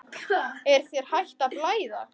Er þér hætt að blæða?